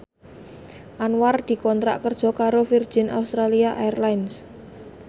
Anwar dikontrak kerja karo Virgin Australia Airlines